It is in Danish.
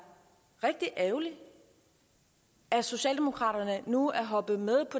rigtig ærgerligt at socialdemokraterne nu er hoppet med